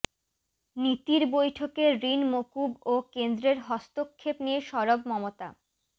নীতির বৈঠকে ঋণ মকুব ও কেন্দ্রের হস্তক্ষেপ নিয়ে সরব মমতা